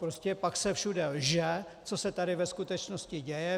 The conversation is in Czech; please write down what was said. Prostě pak se všude lže, co se tady ve skutečnosti děje.